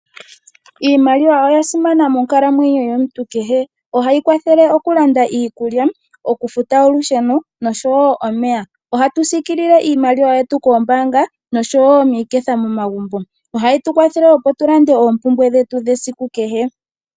Iimaliwa oya simana monkalamwenyo yomuntu kehe. Ohayi kwathele oku landa iikulya, oku futa olusheno noshowo omeya. Ohatu siikilile iimaliwa yetu kombaanga noshowo miiketha momagumbo. Ohayi tu kwathele opo tu lande oompumbwe dhetu dhasiku kehe.